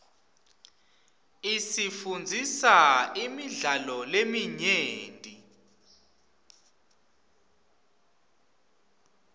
isifundzisa imidlalo leminyenti